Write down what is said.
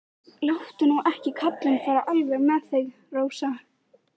Láttu nú ekki kallinn fara alveg með þig, Rósa.